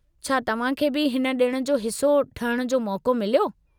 छा तव्हां खे बि हिन ॾिण जो हिस्सो ठहिण जो मौक़ो मिलियो?